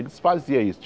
Eles faziam isso.